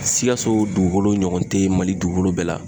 Sikaso dugukolo ɲɔgɔn te yen, mali dugukolo bɛɛ la.